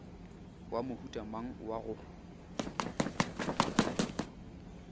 wa mohuta mang wa go